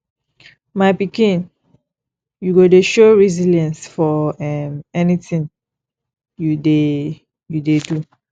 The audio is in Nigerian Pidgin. my pikin you go dey show resilience for um anything you dey you dey do